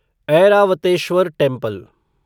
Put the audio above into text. Airavatesvara temple